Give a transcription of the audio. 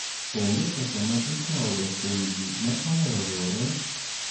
Onge ga pesa ma ikao ga kuom jii ma ohero riwoge kod riwruoge mag kungo kod hola